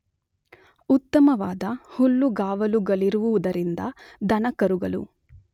ಉತ್ತಮವಾದ ಹುಲ್ಲುಗಾವಲುಗಳಿರುವುದರಿಂದ ದನಕರುಗಳು